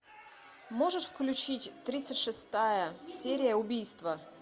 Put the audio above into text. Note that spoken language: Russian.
можешь включить тридцать шестая серия убийство